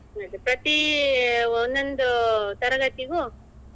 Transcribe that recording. ಪ್ರತಿ ಒಂದೊಂದು ತರಗತಿಗೂ